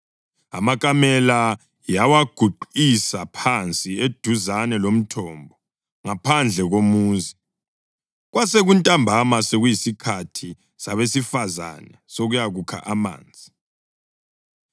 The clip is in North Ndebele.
Amakamela yawaguqisa phansi eduzane lomthombo ngaphandle komuzi; kwasekuntambama, sekuyisikhathi sabesifazane ukuyakukha amanzi.